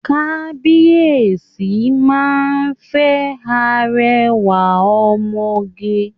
Kabiyesi máa fẹ́ arẹwà ọmọge